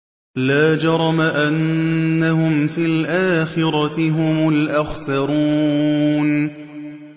لَا جَرَمَ أَنَّهُمْ فِي الْآخِرَةِ هُمُ الْأَخْسَرُونَ